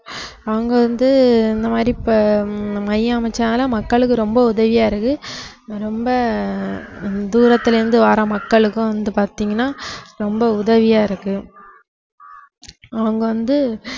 அவங்க வந்து இந்த மாதிரி இப்ப ஹம் மையம் அமைச்சாங்கன்னா மக்களுக்கு ரொம்ப உதவியா இருக்கு ரொம்ப ஆஹ் தூரத்தில் இருந்து வர்ற மக்களுக்கும் வந்து பாத்தீங்கன்னா ரொம்ப உதவியா இருக்கு அவங்க வந்து